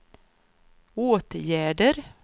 åtgärder